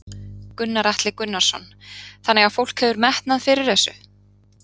Gunnar Atli Gunnarsson: Þannig að fólk hefur metnað fyrir þessu?